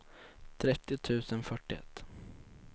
trettio tusen fyrtioett